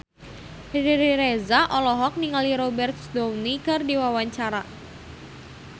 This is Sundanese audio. Riri Reza olohok ningali Robert Downey keur diwawancara